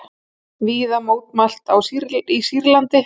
Víða mótmælt í Sýrlandi